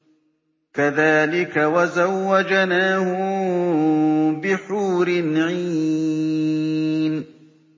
كَذَٰلِكَ وَزَوَّجْنَاهُم بِحُورٍ عِينٍ